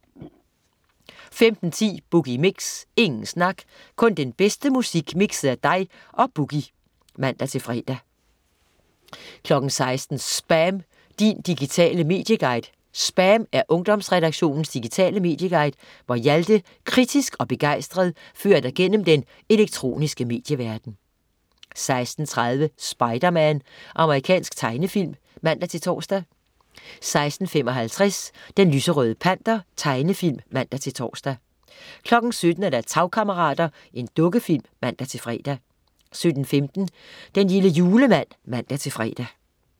15.10 Boogie Mix. Ingen snak, kun den bedste musik mikset af dig og "Boogie" (man-fre) 16.00 SPAM. Din digitale medieguide. "SPAM" er Ungdomsredaktionens digitale medieguide, hvor Hjalte kritisk og begejstret fører dig gennem den elektroniske medieverden 16.30 Spider-Man. Amerikansk tegnefilm (man-tors) 16.55 Den lyserøde Panter. Tegnefilm (man-tors) 17.00 Tagkammerater. Dukkefilm (man-fre) 17.15 Den lille julemand (man-fre)